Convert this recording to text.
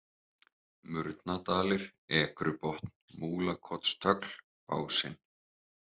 Murnadalir, Ekrubotn, Múlakotstögl, Básinn